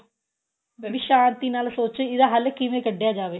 ਵੀ ਸ਼ਾਂਤੀ ਨਾਲ ਸੋਚੋ ਇਹਦਾ ਹੱਲ ਕਿਵੇਂ ਕੱਢਿਆ ਜਾਵੇ